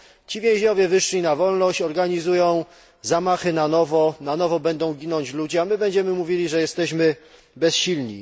Ci więźniowie wyszli na wolność, organizują zamachy na nowo i na nowo będą ginąć ludzie, a my będziemy mówili, że jesteśmy bezsilni.